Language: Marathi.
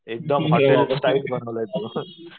एकदम स्टाईल बनवलंय तुम्ही